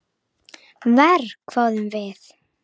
Verr, hváðum við.